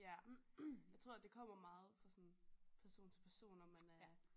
Ja jeg tror det kommer meget fra sådan person til person om man er